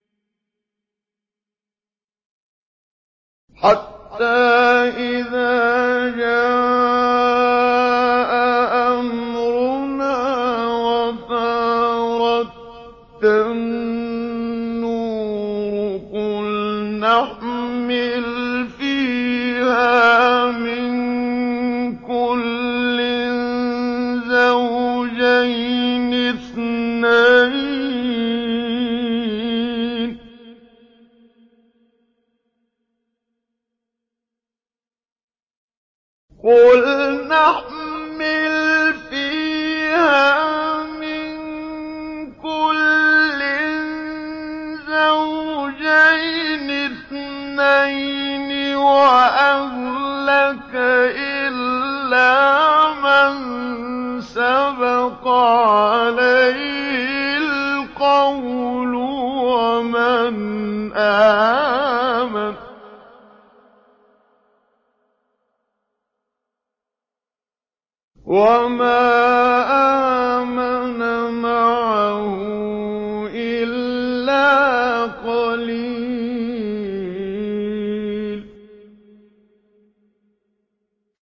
حَتَّىٰ إِذَا جَاءَ أَمْرُنَا وَفَارَ التَّنُّورُ قُلْنَا احْمِلْ فِيهَا مِن كُلٍّ زَوْجَيْنِ اثْنَيْنِ وَأَهْلَكَ إِلَّا مَن سَبَقَ عَلَيْهِ الْقَوْلُ وَمَنْ آمَنَ ۚ وَمَا آمَنَ مَعَهُ إِلَّا قَلِيلٌ